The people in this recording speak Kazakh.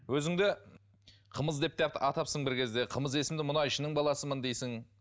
өзіңді қымыз деп те атапсың бір кезде қымыз есімді мұнайшының баласымын дейсің